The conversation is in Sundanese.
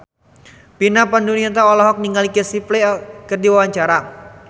Vina Panduwinata olohok ningali Casey Affleck keur diwawancara